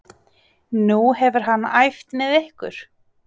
Nú hefur hann æft með ykkur?